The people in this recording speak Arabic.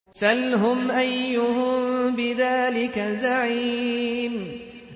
سَلْهُمْ أَيُّهُم بِذَٰلِكَ زَعِيمٌ